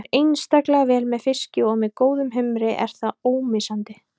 Það fer einstaklega vel með fiski og með góðum humri er það ómissandi.